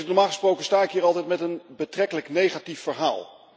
Normaal gesproken sta ik hier altijd met een betrekkelijk negatief verhaal.